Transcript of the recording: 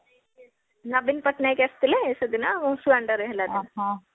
ନବୀନ ପଟ୍ଟନାୟକ ଆସିଥିଲେ ସେଦିନ ଆଉ ସୁଆଣ୍ଡୋରେ ହେଲା ଯୋଉ